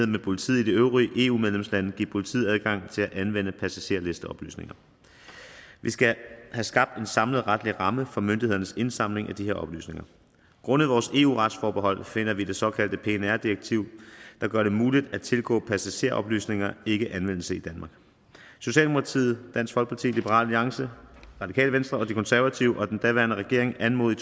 med politiet i de øvrige eu medlemslande give politiet adgang til at anvende passagerlisteoplysninger vi skal have skabt en samlet retlig ramme for myndighedernes indsamling af de her oplysninger grundet vores eu retsforbehold finder det såkaldte pnr direktiv der gør det muligt at tilgå passageroplysninger ikke anvendelse i danmark socialdemokratiet dansk folkeparti liberal alliance radikale venstre og de konservative og den daværende regering anmodede